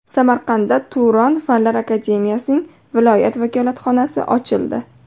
Samarqandda Turon Fanlar akademiyasining viloyat vakolatxonasi ochildi.